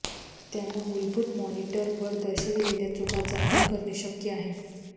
त्यांना मूलभूत मॉनिटर वर दर्शविलेल्या चुका जाणून करणे शक्य आहे